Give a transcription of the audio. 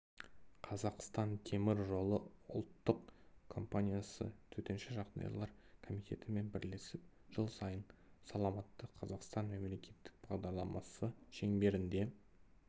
қазақстан темір жолы ұлттық компаниясы төтенше жағдайлар комитетімен бірлесіп жыл сайын саламатты қазақстан мемлекеттік бағдарламасы шеңберінде